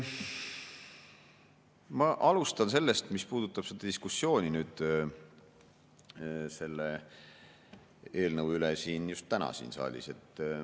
Ma alustan sellest, mis puudutab diskussiooni selle eelnõu üle just täna siin saalis.